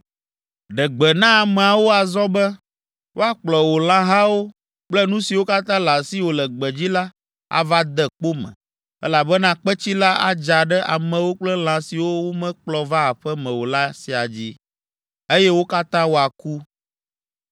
Ɖe gbe na ameawo azɔ be, woakplɔ wò lãhawo kple nu siwo katã le asiwò le gbedzi la ava de kpo me, elabena kpetsi la adza ɖe amewo kple lã siwo womekplɔ va aƒe me o la siaa dzi, eye wo katã woaku.’ ”